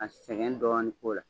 A sɛgɛn dɔɔnin k'o la